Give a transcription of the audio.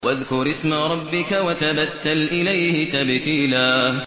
وَاذْكُرِ اسْمَ رَبِّكَ وَتَبَتَّلْ إِلَيْهِ تَبْتِيلًا